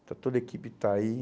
Então, toda a equipe está aí.